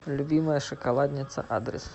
любимая шоколадница адрес